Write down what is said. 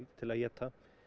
til að éta